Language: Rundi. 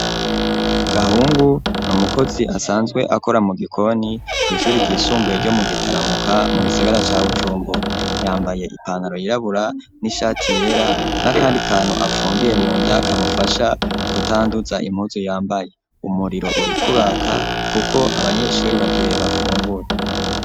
Gahungu n'umukozi asanzwe akora mu gikoni kw'ishuri ryisumbuye ryo mu Gitaramuka mu gisagara ca Bujumbura yambaye ipantaro yirabura n'ishati yera n'akandi kantu apfungiye munda kamufasha kutanduza impuzu yambaye umuriro uriko uraka kuko abanyeshuri bagire bafungure.